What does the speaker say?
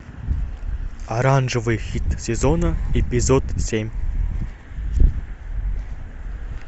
оранжевый хит сезона эпизод семь